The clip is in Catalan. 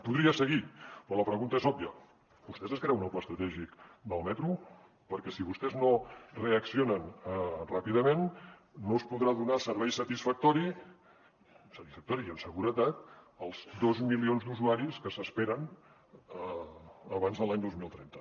podria seguir però la pregunta és òbvia vostès es creuen el pla estratègic del metro perquè si vostès no reaccionen ràpidament no es podrà donar servei satisfactori satisfactori i amb seguretat als dos milions d’usuaris que s’esperen abans de l’any dos mil trenta